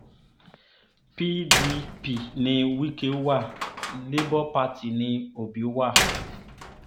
pdp ni wike wa labour party ní òbí wa